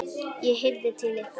ég heyrði til ykkar!